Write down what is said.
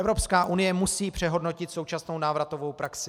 Evropská unie musí přehodnotit současnou návratovou praxi.